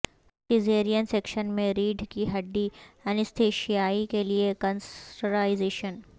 caesarean section میں ریڑھ کی ہڈی اینستائشیا کے لئے کنسرٹائزیشن